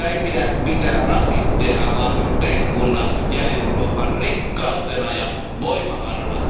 Sitä ei pidä pitää rasitteena vaan yhteiskunnan ja Euroopan rikkautena ja voimavarana.